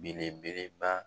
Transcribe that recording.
Belebeleba